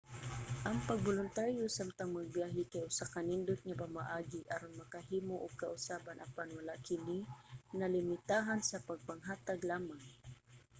ang pagboluntaryo samtang nagbiyahe kay usa ka nindot nga pamaagi aron makahimo og kausaban apan wala kini nalimitahan sa pagpanghatag lamang